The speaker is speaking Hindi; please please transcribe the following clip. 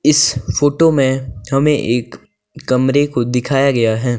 इस फोटो में हमें एक कमरे को दिखाया गया है।